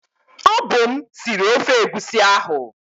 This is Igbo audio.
Ọ bụ m sịrị ofe egwusi ahu